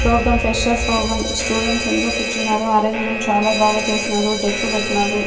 Programme fresher programme students అందరూ కూర్చున్నారు arrangement చాలా బాగా చేసినారు డెక్కు పెట్టినారు.